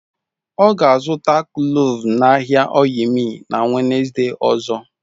Ọ ga-azụta kloves n'ahịa oyil miil na Wenezde ozo.